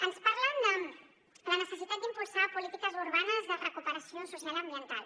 ens parlen de la necessitat d’impulsar polítiques urbanes de recuperació social i ambiental